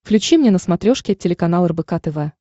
включи мне на смотрешке телеканал рбк тв